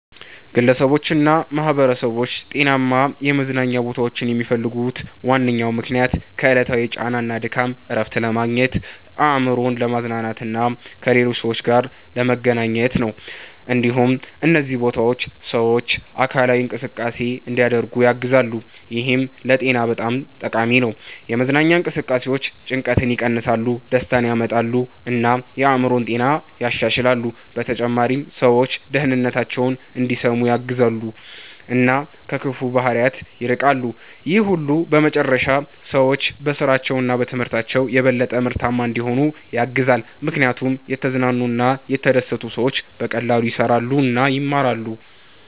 ግለሰቦችና ማኅበረሰቦች ጤናማ የመዝናኛ ቦታዎችን የሚፈልጉት ዋነኛ ምክንያት ከዕለታዊ ጫና እና ድካም እረፍት ለማግኘት፣ አእምሮን ለማዝናናት እና ከሌሎች ሰዎች ጋር ለመገናኘት ነው። እንዲሁም እነዚህ ቦታዎች ሰዎች አካላዊ እንቅስቃሴ እንዲያደርጉ ያግዛሉ፣ ይህም ለጤና በጣም ጠቃሚ ነው። የመዝናኛ እንቅስቃሴዎች ጭንቀትን ይቀንሳሉ፣ ደስታን ያመጣሉ እና የአእምሮ ጤናን ያሻሽላሉ። በተጨማሪም ሰዎች ደህንነታቸውን እንዲሰሙ ያግዛሉ እና ከክፉ ባህሪያት ይርቃሉ። ይህ ሁሉ በመጨረሻ ሰዎች በስራቸው እና በትምህርታቸው የበለጠ ምርታማ እንዲሆኑ ያግዛል፣ ምክንያቱም የተዝናኑ እና የተደሰቱ ሰዎች በቀላሉ ይሰራሉ እና ይማራሉ።